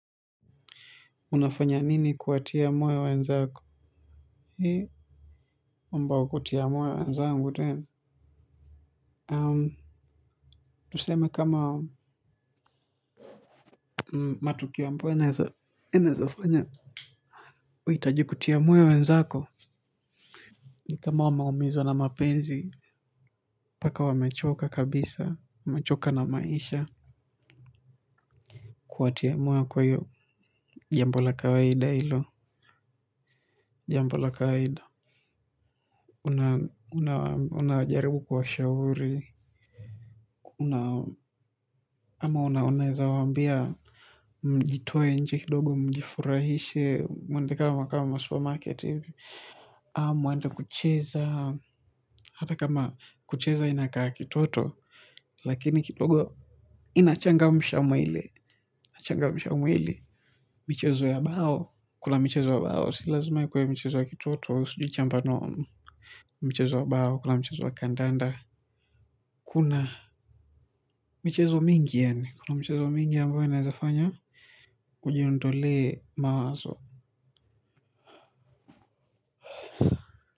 Unafanya nini kuwatia moyo wenzako. Ni ambao kuwatia moyo wenzangu tena Um. Tuseme kama matukio ambayo naezafanya? Wahitaji kutia moyo wenzako. Ni kama wamaumizwa na mapenzi. Paka wamechoka kabisa. Wamechoka na maisha. Kuwatia moyo kwa hiyo jambo la kawaida hilo. Jambo la kawaida. Una, una, unajaribu kuwashauri. Una, ama una, unaeza waambia. Mjitoe nje kidogo mjifurahishe mwende kama kama supermarket hivi mwende kucheza hata kama kucheza inakaa kitoto lakini kidogo inachangamsha mwili michezo ya bao kuna michezo ya bao si lazima ikuwe michezo ya kitoto sijui mchongoano mchezo ya bao kuna mchezo wa kandanda kuna michezo mingi yaani kuna michezo mingi ambayo inaezafanya kujiondolee mawazo.